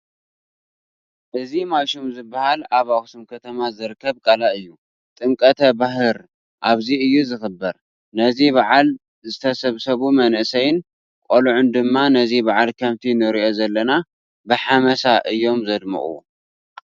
እዚ ማይሹም ዝበሃል ኣብ ኣኽሱም ከተማ ዝርከብ ቃላይ እዩ፡፡ ጥምቀተ ባህር ኣብዚ እዩ ዝኽበር፡፡ ነዚ በዓል ዝተሰብሰቡ መናእሰይን ቆልዑን ድማ ነዚ በዓል ከምቲ ንሪኦ ዘለና ብሓመሳ እዮም ዘድምቕዎ፡፡